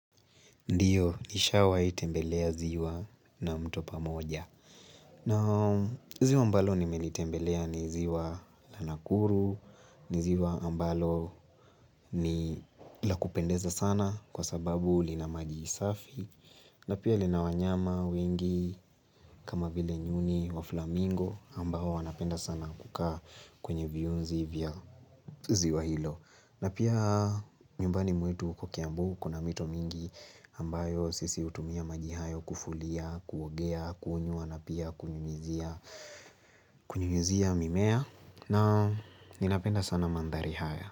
Ndiyo, nishawahi tembelea ziwa na mtopa moja. Na ziwa ambalo nimelitembelea ni ziwa la Nakuru, ni ziwa ambalo ni la kupendeza sana, kwa sababu lina maji isafi. Na pia lina wanyama wengi, kama vile nyuni wa flamingo, ambao wanapenda sana kukaa kwenye viyunzi vya ziwa hilo. Na pia nyumbani mwetu huko Kiambu, kuna mito mingi ambayo sisi hutumia maji hayo kufulia, kuogea, kunyua na pia kunyunyizia mimea na Ninapenda sana mandhari haya.